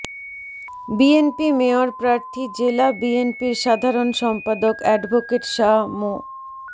বিএনপির মেয়র প্রার্থী জেলা বিএনপির সাধারণ সম্পাদক অ্যাডভোকেট শাহ মো